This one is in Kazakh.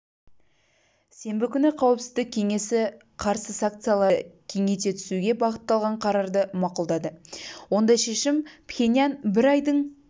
сенбі күні қауіпсіздік кеңесі қарсы санкцияларды кеңейте түсуге бағытталған қарарды мақұлдады ондай шешім пхеньян бір айдың